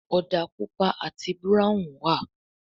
òdà pupa àti Búráhùn wá.